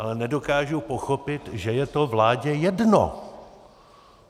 Ale nedokážu pochopit, že je to vládě jedno!